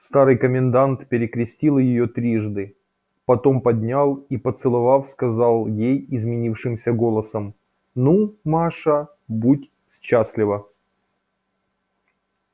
старый комендант перекрестил её трижды потом поднял и поцеловав сказал ей изменившимся голосом ну маша будь счастлива